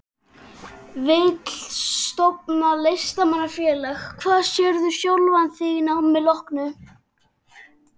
Vill stofna Listamanna-félag Hvar sérðu sjálfan þig að námi loknu?